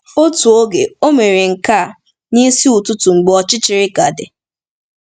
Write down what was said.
Otu oge, o mere nke a “n’isi ụtụtụ mgbe ọchịchịrị ka dị.”